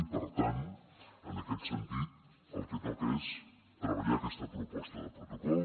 i per tant en aquest sentit el que toca és treballar aquesta proposta de protocol